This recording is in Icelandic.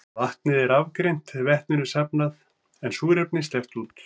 Vatnið er rafgreint, vetninu safnað en súrefni sleppt út.